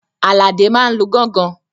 Àlàdé máa n lu gángan